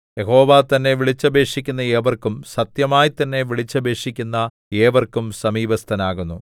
യഹോവ തന്നെ വിളിച്ചപേക്ഷിക്കുന്ന ഏവർക്കും സത്യമായി തന്നെ വിളിച്ചപേക്ഷിക്കുന്ന ഏവർക്കും സമീപസ്ഥനാകുന്നു